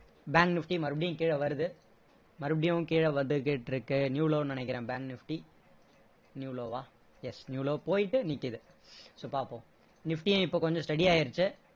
bank nifty மறுபடியும் கீழ வருது மறுபடியும் கீழ வந்து கிட்டிருக்கு new low ன்னு நினைக்கிறேன் bank nifty new low வா yes new low போயிட்டு நிக்குது so பாப்போம் nifty யும் இப்போ கொஞ்சம் steady ஆகிடுச்சி